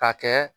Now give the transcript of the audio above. Ka kɛ